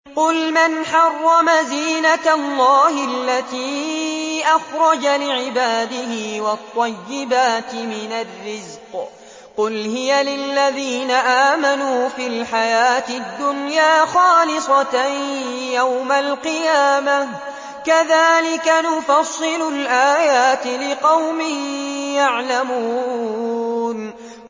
قُلْ مَنْ حَرَّمَ زِينَةَ اللَّهِ الَّتِي أَخْرَجَ لِعِبَادِهِ وَالطَّيِّبَاتِ مِنَ الرِّزْقِ ۚ قُلْ هِيَ لِلَّذِينَ آمَنُوا فِي الْحَيَاةِ الدُّنْيَا خَالِصَةً يَوْمَ الْقِيَامَةِ ۗ كَذَٰلِكَ نُفَصِّلُ الْآيَاتِ لِقَوْمٍ يَعْلَمُونَ